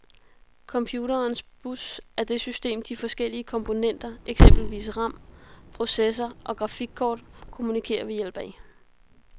Computerens bus er det system, de forskellige komponenter, eksempelvis ram, processor og grafikkort, kommunikerer ved hjælp af.